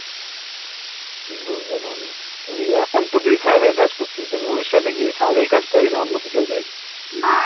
বুঝতে পারলাম তুই এখন তো তুই